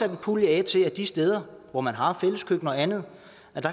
en pulje af til at de steder hvor man har fælleskøkkener og andet